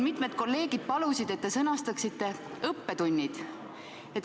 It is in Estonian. Mitmed kolleegid siin palusid, et te sõnastaksite õppetunnid.